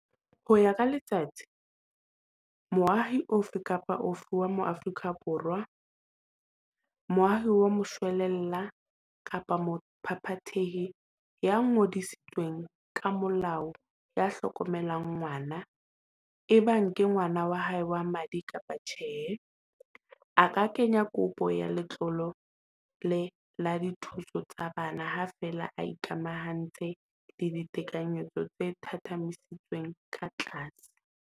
Ho ya ka Letsatsi, moahi ofe kapa ofe wa Moafrika Borwa, moahi wa moshwelella kapa mophaphathehi ya ngodisitsweng ka molao ya hlokomelang ngwana, ebang ke ngwana wa hae wa madi kapa tjhe, a ka kenya kopo ya letlole la dithuso tsa bana, ha feela a ikamahantsha le ditekanyetso tse thathamisitsweng ka tlase.